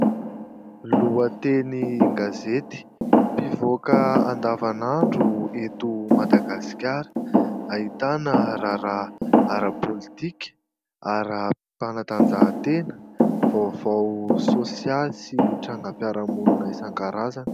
Lohatenin-gazety mpivoaka andavan'andro eto Madagasikara. Ahitana raharaha ara-politika, ara-panatanjahan-tena, vaovao sosialy sy trangam-piarahamonina isan-karazany.